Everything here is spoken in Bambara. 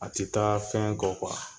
A ti taa fɛn kɔ